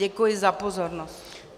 Děkuji za pozornost.